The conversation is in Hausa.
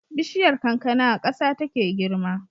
Bishiyar kankana a ƙasa take girma